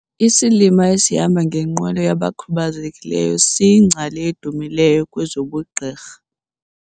Isilima esihamba ngenqwelo yabakhubazekileyo siyingcali edumileyo kwezobugqirha.